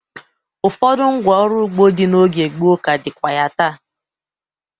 Ụfọdụ ngwá ọrụ ugbo dị n'oge gboo ka dịkwa ya taa.